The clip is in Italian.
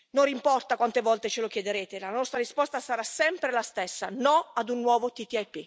Non importa quante volte ce lo chiederete, la nostra risposta sarà sempre la stessa no ad un nuovo TTIP.